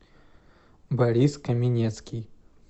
борис каменецкий